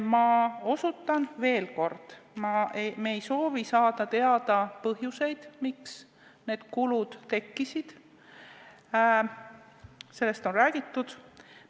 Ma osutan veel kord, et me ei soovi saada teada põhjuseid, miks need kulud tekkisid, sellest on räägitud.